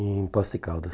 Em Poços de Caldas.